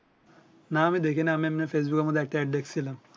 না আমি দেখি নাই এমনি ফেসবুক মধ্যে একটা AD দেখছিলাম